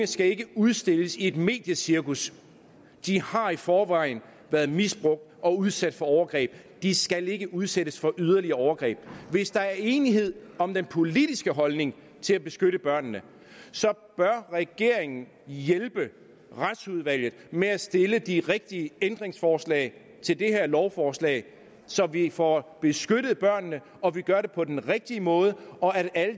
skal udstilles i et mediecirkus de har i forvejen været misbrugt og udsat for overgreb de skal ikke udsættes for yderligere overgreb hvis der er enighed om den politiske holdning til at beskytte børnene så bør regeringen hjælpe retsudvalget med at stille de rigtige ændringsforslag til det her lovforslag så vi får beskyttet børnene og vi gør det på den rigtige måde og at